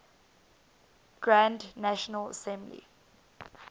grand national assembly